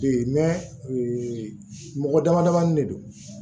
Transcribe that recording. Bi mɔgɔ dama damanin de don